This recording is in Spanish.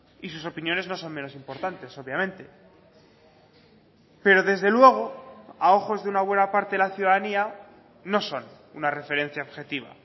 y sus opiniones no son menos importantes obviamente pero desde luego a ojos de una buena parte de la ciudadanía no son una referencia objetiva